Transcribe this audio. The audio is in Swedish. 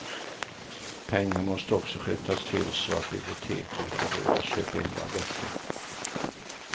Pengar måste också skjutas till så att biblioteken får råd att köpa in våra böcker.